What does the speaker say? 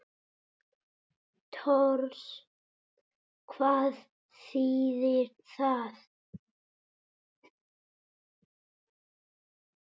Tors. hvað þýðir það?